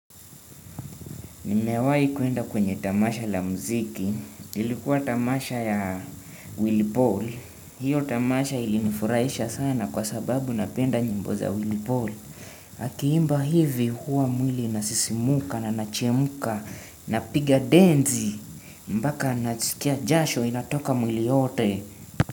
Nimewahi kwenda kwenye tamasha la mziki, ilikuwa tamasha ya Willy Paul, hiyo tamasha ilinifurahisha sana kwa sababu napenda nyimbo za Willy Paul. Akiimba hivi huwa mwili inasisimuka na nachemka napiga densi, mpaka nasikia jasho inatoka mwili yote.